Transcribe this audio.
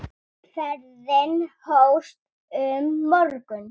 Ferðin hófst um morgun.